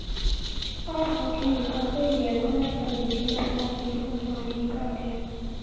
ਆਹੋ ਠੀਕ ਆ ਸਹੇਲੀਆਂ ਤਾਂ ਹੁਣ ਅੱਜ ਕੱਲ ਬੀਜੀ ਰਹਿਣ ਲੱਗ ਪੀਆ, phone ਫਾਨ ਈ ਨਹੀਂ ਕਰਦੀਆਂ